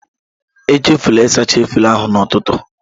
Echefula ịsacha efere ahụ n'ụtụtụ.